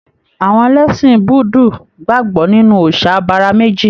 Àwọn ẹlẹṣin Búudú gbagbọ nínú òòsà abara meji.